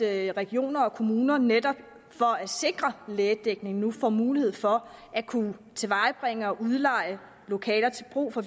at regioner og kommuner netop for at sikre lægedækning nu får mulighed for at kunne tilvejebringe og udleje lokaler til brug for